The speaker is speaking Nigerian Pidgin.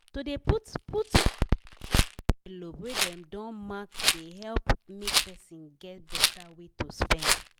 to dey put put money for envelope wey dem don mark dey help make person get better way to spend.